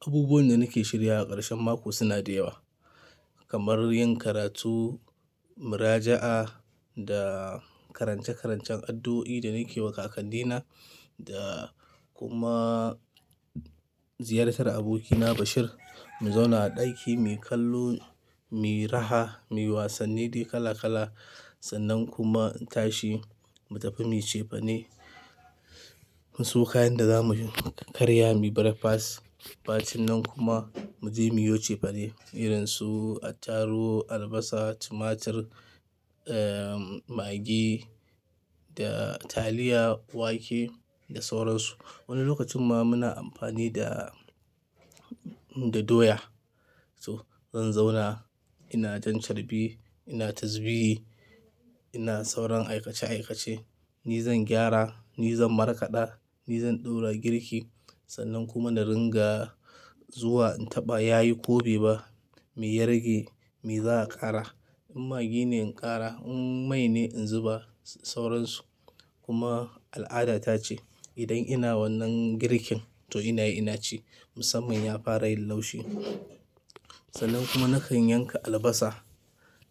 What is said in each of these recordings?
Abubuwan da nake shiryawa a ƙarshen mako suna da yawa. Kamar yin karatu, muraja'a da karance-karancen addo'o'i da nake wa kakanni na da kuma ziyartar abokina Bashir. Mu zauna a ɗaki, mu kallo, mu raha, mu yi wasanni kala-kala. Sannan kuma in tashi mu tafi mu ce fani. Mu siyo kayan da za mu karya mu yi breakfast. Bacin nan kuma mu je mu yi wuce fane, irin su attaruh, albasa, tumatur, eh, magi da taliya, wake da sauransu. Wani lokacin ma muna amfani da, da doya. To, zan zauna ina jan carbi, ina tazbiyi, ina sauran aikace-aikace. Ni zan gyara, ni zan markaɗa, ni zan ɗora girki. Sannan kuma na ringa zuwa in taɓa ya yi ko be ba, me yi rage, me zaa ƙara. In magi ne in ƙara, in mai ne in zuba sauransu. Kuma al'ada ta ce idan ina wannan girkin to ina yi ina ci, musamman ya fara yin laushi. Sannan kuma nakan yanka albasa,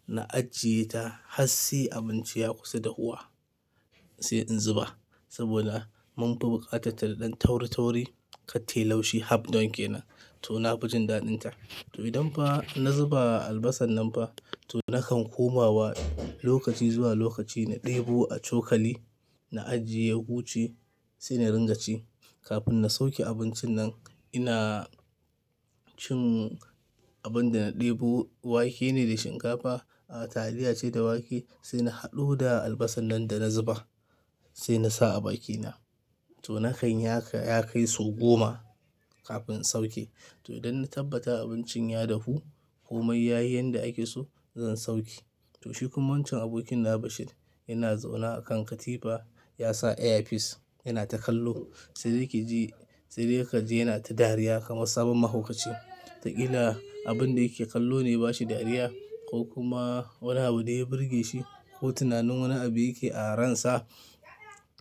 na ajiye ta har sai abinci ya kusa dafuwa sai in zuba. Saboda mun fi bu ƙatarta da taur-tauri, ka tayi laushi half don ƙenan, to na fi jin daɗin ta. To idan fa na zuba albasan nan fa, to nakan komawa lokaci zuwa lokaci na ɗebo a cokali, na ajiye ya huche sai na ringa ci. Kafin na sauke abincin nan ina cin abin da na ɗebo wake ne da shinkafa, a taliya ce da wake. Sai na haɗu da albasan nan da na zuba sai na sa a bakina. To nakan yi ha ka, ya kai sau goma kafin sauke. To idan na tabbata abincin ya dafu kuma ya yi yanda ake so, zan sauke. To shi kuma wancan abokina Bashir yana zaune a kan katifa. Ya sa earpiece, yana ta kallo. Sai dai ki ji, sai dai ka ji yana ta dariya kamar sabon mahaukaci. Wata ƙila abin da yake kallo ne yaba shi dariya ko kuma wani abu ne ya burge shi ko tunanin wani abu yake a ransa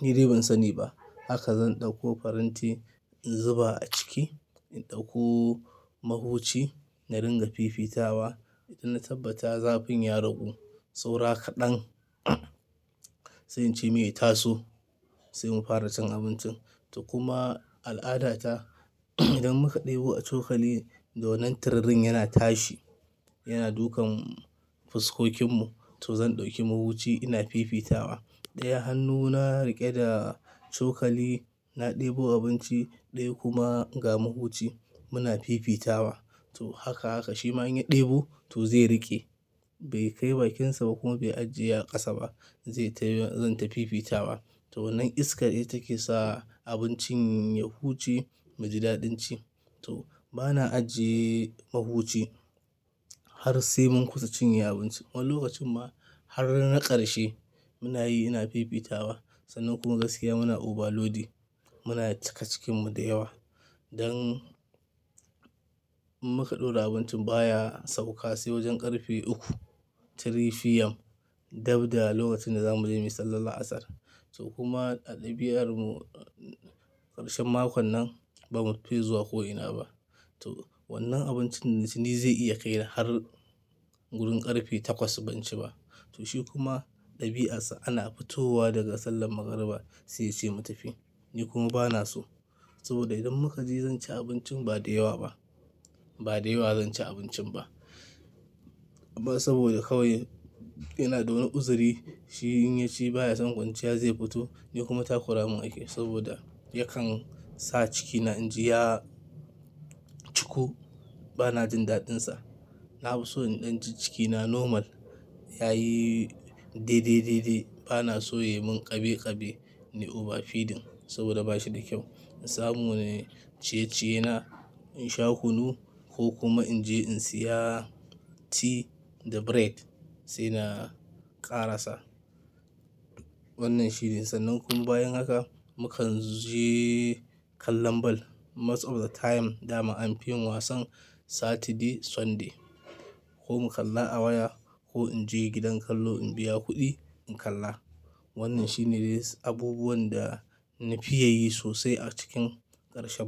ni dai ban sani ba. Haka zan ɗauko faranti in zuba a ciki, in ɗauko mahuci na ringa fifita wa. Idan na tabbata zafin ya ragu, saura kaɗan sai in ce me ya taso sai mu fara cin abincin. To kuma al'ada ta idan muka ɗebo a cokali, dole da wannan tururin yana tashi yana dukan fuskokinmu. To zan ɗauki mahuci ina fifita wa. Ɗaya hannuna riƙe da cokali na ɗebo abinci, ɗaya kuma ga mahuci muna fifita wa. To haka haka shi ma in ya ɗebo to zai riƙe. Bai kai bakinsa ba kuma bai ajiye a ƙasa ba zai tafi zan tafi fifita wa. To wannan iskar ita ke sa abincin ya huchi mu ji daɗin ci. To bana ajiye mahuci har sai mun kusa cinye abinci. Wani lokacin ma har na ƙarshe muna yi ina fifita wa. Sannan kuma gaskiya muna over loading. Muna cika cikinmu da yawa don muka ɗora abincin baya sauka sai wajen ƙarfe uku. 3:00 PM. Dabda lokacin da za mu je mu yi sallar Asr. To kuma a ɗabi'armu ƙarshen makun nan ba mu fi zuwa ko ina ba. To wannan abincin da ci ni zai iya kai ni har wurin ƙarfe takwas ban ci ba. To shi kuma ɗabi'arsa ana fitowa daga sallar magariba sai yace mu tafi. Ni kuma bana so saboda idan muka je zan ci abincin ba da yawa ba. Ba da yawa zan ci abincin ba. Ba saboda kawai yana dawani uzuri shi in ya ci baya son kwanciya zai fito. Ni kuma takura mun ake saboda yakan sa cikina in ji ya cuku. Bana jin daɗinsa. Na fi so in ɗan cikina normal yayi de de de de. Bana so ya mun ƙabe ƙabe ni over feeding saboda ba shi da kyau. In samu ne ciye-ciye na in sha kunu ko kuma in je in siya tea da bread sai na ƙara sa wannan shirin. Sannan kuma bayan haka mu kan je kallon ball. Most of the time dama an fi yin wasan Saturday, Sunday ko mu kalla a waya ko in je gidan kallo in biya kuɗi in kalla. Wannan shine abubuwan da na fi ya yi sosai a cikin ƙarshen mako.